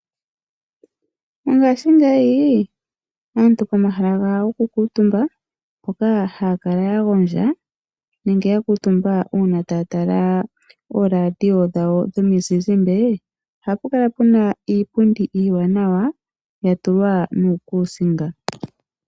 Mongashingeyi aantu pomahala gawo goku kuutumba, mpoka haya kala ya gondja nenge ya kuutumba uuna taya tala ooradio dhawo dhomizizimbe, ohapu kala puna iipundi iiwanawa ya tulwa nuukusinga.